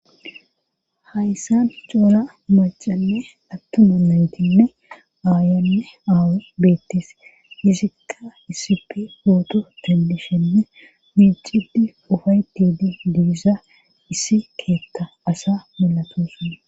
hayssan coora macanne attuma naytinne aayanne aawa beettes hisikqa isip pooto tendishenne miicidi ufaytide diisa issi keeta asa milatosona